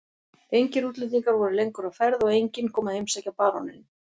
Engir útlendingar voru lengur á ferð og enginn kom að heimsækja baróninn.